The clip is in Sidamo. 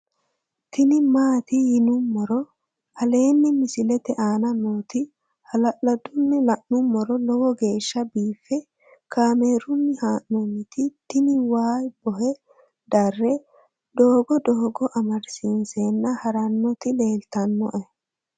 tini maati yinummoro aleenni misilete aana nooti hala'ladunni la'nummoro lowo geeshsha biiffe kaamerunni haa'nooniti tini waa bohe darre doogo doogo amadisiinsenna harannoti leltannoe